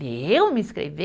Eu me inscrever?